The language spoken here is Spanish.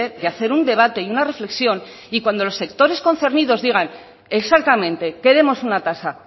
de hacer un debate y una reflexión y cuando los sectores concernidos digan exactamente queremos una tasa